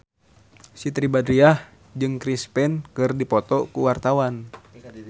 Siti Badriah jeung Chris Pane keur dipoto ku wartawan